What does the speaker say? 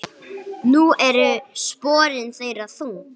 Nú eru sporin þeirra þung.